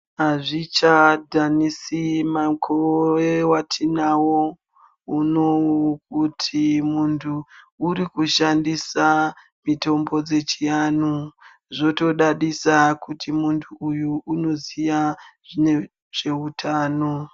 Hazvi chadhanisi mukore watinawo unouyu kuti muntu uyu arikushadhisa mitombo yechianhu zvotodadisa kuti muntu uyu anoziva nezve utano.